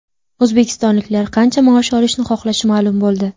O‘zbekistonliklar qancha maosh olishni xohlashi ma’lum bo‘ldi.